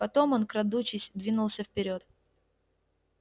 потом он крадучись двинулся вперёд